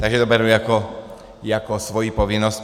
Takže to beru jako svoji povinnost.